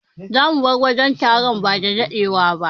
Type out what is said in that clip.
Zamu bar wajen taron bada dadewa ba.